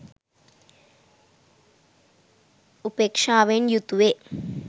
උපේක්ෂාවෙන් යුතුවේ.